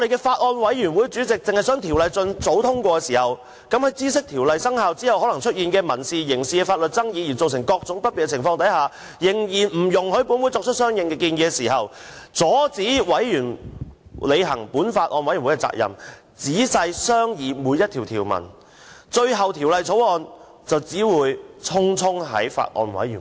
法案委員會主席只希望盡早通過《條例草案》，即使明知《條例草案》生效後，可能出現民事或刑事法律爭議而引申各種問題，但仍然不容許本會提出相應建議，並阻止法案委員會履行仔細商議《條例草案》條文的責任。